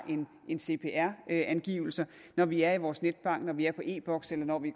en cpr angivelse når vi er i vores netbank når vi er i e boks eller når vi